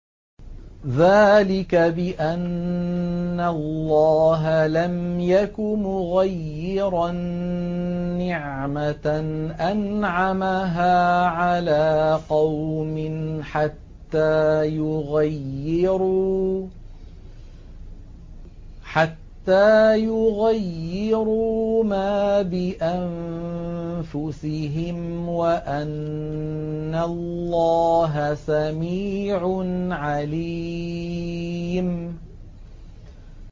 ذَٰلِكَ بِأَنَّ اللَّهَ لَمْ يَكُ مُغَيِّرًا نِّعْمَةً أَنْعَمَهَا عَلَىٰ قَوْمٍ حَتَّىٰ يُغَيِّرُوا مَا بِأَنفُسِهِمْ ۙ وَأَنَّ اللَّهَ سَمِيعٌ عَلِيمٌ